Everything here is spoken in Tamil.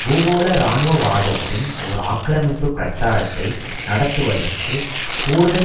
பூகோள இராணுவவாதத்தின் ஒரு ஆக்கிரமிப்பு பிரச்சாரத்தை நடத்துவதற்கு கூடுதல்